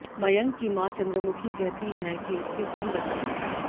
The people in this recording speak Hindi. मयंक की मां चंद्रमुखी कहती हैं कि उसके तीन बच्चे हैं